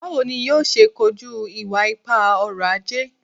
Bawo ni yoo ṣe koju iwa-ipa ọrọ-aje?